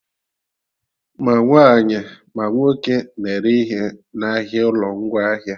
Ma nwaanyị, ma nwoke na-ere ihe n'ahịa ụlọ ngwaahịa